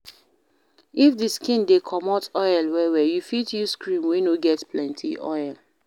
If di skin dey comot oil well well, you fit use cream wey no get plenty oil